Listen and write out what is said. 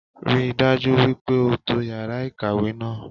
Rí i dájú wípé o to yàrá ìkàwé náà